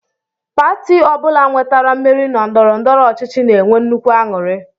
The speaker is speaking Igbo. Pati ọ bụla nwetara mmeri na ndọrọndọrọ ọchịchị na-enwe nnukwu aṅụrị